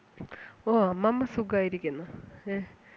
ഓ അമ്മമ്മ സുഖായിരിക്കുന്നു ഏഹ്